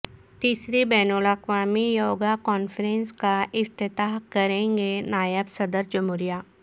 تیسری بین الاقوامی یوگا کانفرنس کا افتتاح کریں گے نائب صدرجمہوریہ